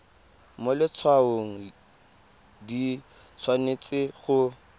mo letshwaong di tshwanetse go